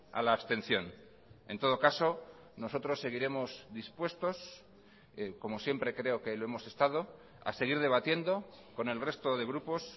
a la abstención en todo caso nosotros seguiremos dispuestos como siempre creo que lo hemos estado a seguir debatiendo con el resto de grupos